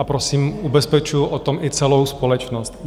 A prosím, ubezpečuju o tom i celou společnost.